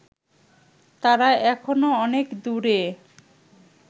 তারা এখনও অনেক দূরে